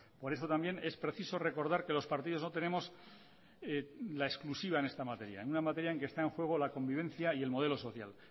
por eso también es preciso recordar que los partidos no tenemos la exclusiva en esta materia una materia en que está en juego la convivencia y el modelo social